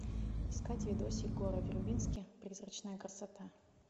искать видосик горы вербински призрачная красота